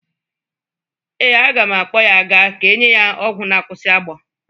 Ee, aga m akpọ ya ga ka enye ya ọgwọ na-akwụsị agbọ.